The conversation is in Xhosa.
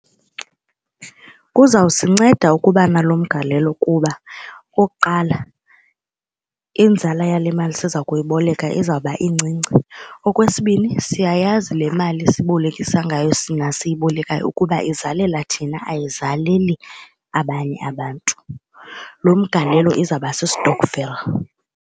Kuzawusinceda ukuba nalo mgalelo kuba okokuqala inzala yale mali siza kuyiboleka izawuba incinci. Okwesibini siyayazi le mali sibolekisa ngayo siyibolekayo ukuba izalela thina ayizaleli abanye abantu. Lo mgalelo izawuba si-stokvel.